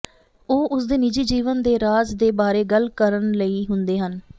ਉਹ ਉਸ ਦੇ ਨਿੱਜੀ ਜੀਵਨ ਦੇ ਰਾਜ ਦੇ ਬਾਰੇ ਗੱਲ ਕਰਨ ਲਈ ਹੁੰਦੇ ਹਨ